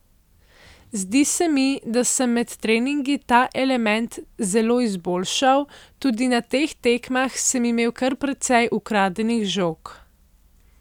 Zdi se mi, da sem med treningi ta element zelo izboljšal, tudi na teh tekmah sem imel kar precej ukradenih žog.